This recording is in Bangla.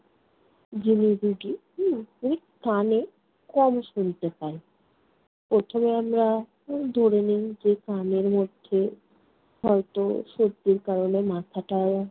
হম ওই কানে কম শুনতে পায়। প্রথমে আমরা ওই ধরে নেই যে কানের মধ্যে হয়ত সর্দির কারণে মাথাটাও